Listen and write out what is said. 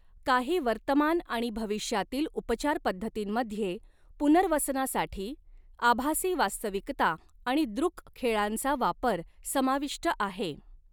काही वर्तमान आणि भविष्यातील उपचार पद्धतींमध्ये पुनर्वसनासाठी आभासी वास्तविकता आणि दृक खेळांचा वापर समाविष्ट आहे.